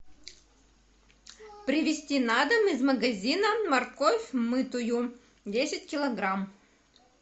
привезти на дом из магазина морковь мытую десять килограмм